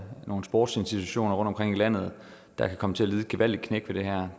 nogle sportsinstitutioner rundtomkring i landet der kan komme til at lide et gevaldigt knæk ved det her